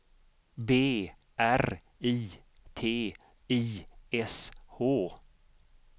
B R I T I S H